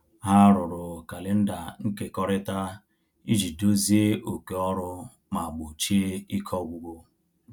Ha rụrụ kalenda nkekọrịta iji dozie oké ọrụ ma gbochie ike ọgwụgwụ